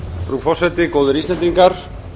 frú forseti góðir íslendingar